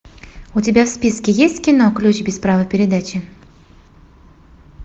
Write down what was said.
у тебя в списке есть кино ключ без права передачи